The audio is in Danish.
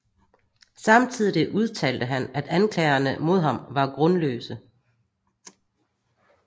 Samtidig udtalte han at anklagerne mod ham var grundløse